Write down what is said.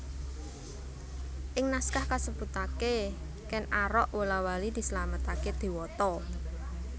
Ing naskah kasebutaké Kèn Arok wola wali dislametaké dewata